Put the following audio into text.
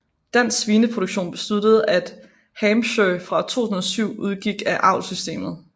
Dansk Svineproduktion besluttede at Hampshire fra 2007 udgik af avlssystemet